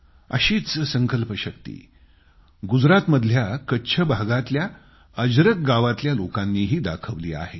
अशीच संकल्पशक्ती गुजरातमधल्या कच्छ भागातल्या अजरक गावातल्या लोकांनीही दाखवली आहे